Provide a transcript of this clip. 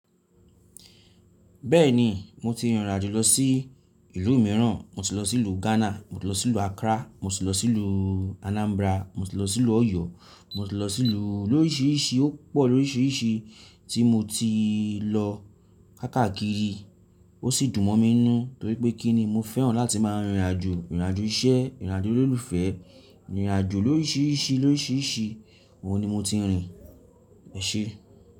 Bẹ́ẹ̀ni, mo ti rìnrìn àjò lọ sí ìlú mìíràn. Mo ti lọ sí ìlú Ghana, mo ti lọ sí ìlú Accra, mo ti lọ sí ìlú Anambra, mo ti lọ sí ìlú Oyo, mo ti lọ sí ìlú, lórisìíríṣìí, ó pọ̀ lórisìíríṣìí tí mo ti lọ káàkiri. Ó sì dùn mọ́ mí nù torí pé kí ni mo fẹ́ràn láti máa rìnrìn àjò. Rìnrìn àjò iṣẹ́, rìnrìn àjò olólùfẹ́, rìnrìn àjò lórisìíríṣìí, lórisìíríṣìí, òun ni mo ti n rìn eṣé.